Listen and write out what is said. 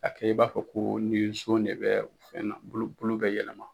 A kɛ i b'a fɔ ko ni nson de bɛ fɛn na, bulu bulu bɛ yɛlɛma.